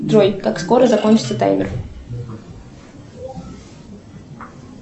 джой как скоро закончится таймер